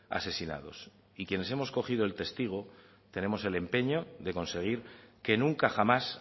asesinados y quienes hemos cogido el testigo tenemos el empeño de conseguir que nunca jamás